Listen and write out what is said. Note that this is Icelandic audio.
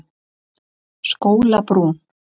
Skólabrún